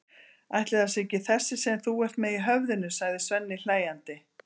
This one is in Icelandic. Ætli það sé ekki þessi sem þú ert með í höfðinu, sagði Svenni hlæjandi.